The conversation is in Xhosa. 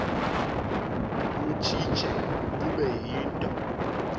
butshitshe bube yinto